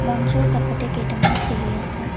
মঞ্চৰ কাষতে কেইটামান চিৰি আছে।